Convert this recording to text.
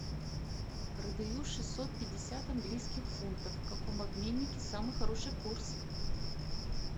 продаю шестьсот пятьдесят английских фунтов в каком обменнике самый хороший курс